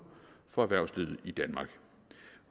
for erhvervslivet i danmark